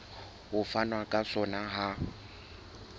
ho fanwa ka sona ha